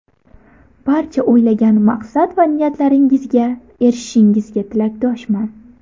Barcha o‘ylagan maqsad va niyatlaringizga erishishingizga tilakdoshman.